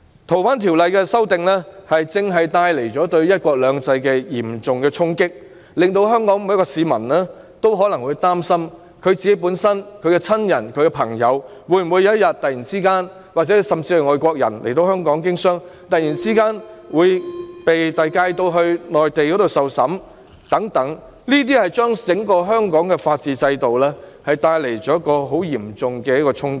《逃犯條例》的修訂正正為"一國兩制"帶來嚴重衝擊，令每名香港市民也為自己、親人和朋友感到憂慮，而來港經商的外國人亦擔心會否有天突然被引渡到內地受審，對香港整個法治制度帶來嚴重衝擊。